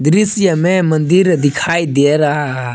दृश्य में मंदिर दिखाई दे रहा--